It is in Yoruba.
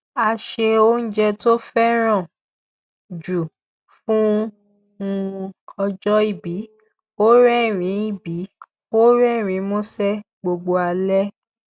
a ṣe oúnjẹ tó fẹràn jù fún un ọjọ ìbí ó rẹrìnín ìbí ó rẹrìnín músẹ gbogbo alẹ